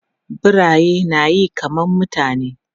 Biraye na yi kaman mutane.